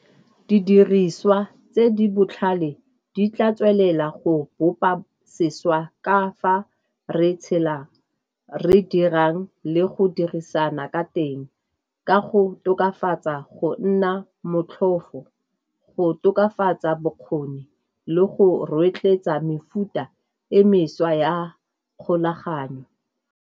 Didiriswa tse di botlhale di tla tswelela go bopa sešwa ka fa re tshelang, re dirang le go dirisana ka teng ka go tokafatsa go nna motlhofo, go tokafatsa bokgoni le go rotloetsa mefuta e mešwa ya kgolaganyo.